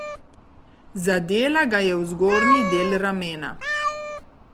Zadela ga je v zgornji del ramena.